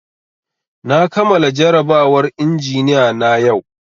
Na kamala jarabawar injiniya na yau